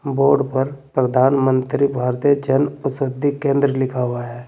Board पर प्रधानमंत्री भारतीय जन औषधि केंद्र लिखा हुआ है।